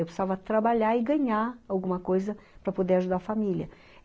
Eu precisava trabalhar e ganhar alguma coisa para poder ajudar a família.